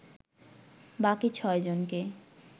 বাকি ছয়জনকে